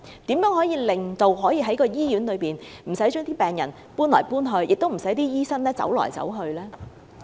當局如何可以免卻該醫院的病人轉院的需要，以及讓醫生無需東奔西走呢？